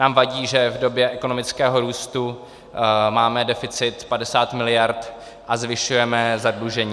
Nám vadí, že v době ekonomického růstu máme deficit 50 miliard a zvyšujeme zadlužení.